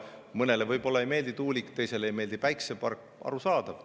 Mõnele võib-olla ei meeldi tuulik, teisele ei meeldi päikesepark – arusaadav.